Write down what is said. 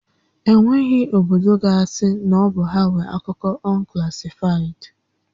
E nweghị obodo ga asị na ọ bụ ha nwé akụkọ unclassified